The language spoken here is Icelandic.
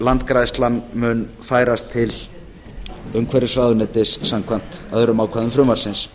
landgræðslan mun færast til umhverfisráðuneytis samkvæmt öðrum ákvæðum frumvarpsins